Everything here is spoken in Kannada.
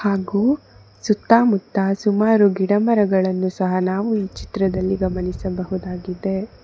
ಹಾಗು ಸುತ್ತಮುತ್ತಲು ಸುಮಾರು ಗಿಡಮರಗಳನ್ನು ನಾವು ಈ ಚಿತ್ರದಲ್ಲಿ ಗಮನಿಸಬಹುದು.